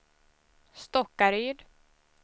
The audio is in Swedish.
Stockaryd